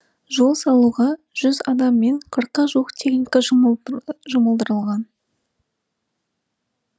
жол салуға жүз адам мен қырыққа жуық техника жұмылдырылған